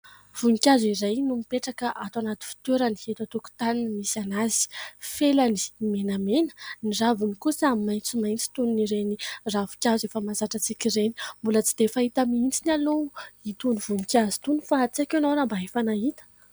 Voninkazo iray no mipetraka ato anaty fitoerany eto an-tokotany no misy anazy. Felany menamena, ny raviny kosa maitsomaitso toy ny ireny ravin-kazo efa mahazatra antsika ireny. Mbola tsy dia fahita mihitsy aloha itony voninkazo itony fa tsy haiko ianao raha mba efa nahita.